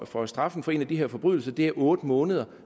for straffen for en af de her forbrydelser er otte måneder